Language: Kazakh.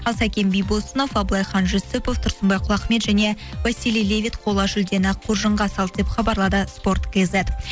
ал сәкен бибосынов абылайхан жүсіпов тұрсынбай құлахмет және василий левит қола жүлдені қоржынға салды деп хабарлады спорт кейзет